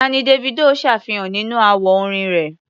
Tá ni Davido ṣàfihàn nínú àwo orin rẹ̀?